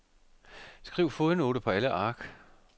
Skriv fodnote på alle ark.